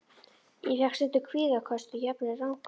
Ég fékk stundum kvíðaköst og jafnvel ranghugmyndir.